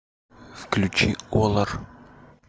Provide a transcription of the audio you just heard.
включи олар